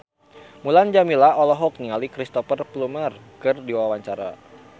Mulan Jameela olohok ningali Cristhoper Plumer keur diwawancara